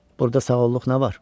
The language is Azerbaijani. Burda sağıllıq nə var?